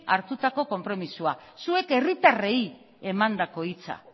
hartutako konpromisoa zuek herritarrei emandako hitza